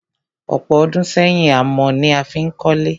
Ọ̀pọ̀ ọdún sẹ́yìn, amọ̀ ni a fí n kólé.